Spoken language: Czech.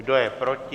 Kdo je proti?